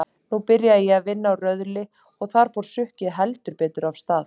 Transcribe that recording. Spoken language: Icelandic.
Nú byrjaði ég að vinna á Röðli og þar fór sukkið heldur betur af stað.